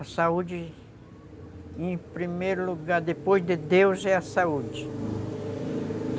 A saúde, em primeiro lugar, depois de Deus, é a saúde.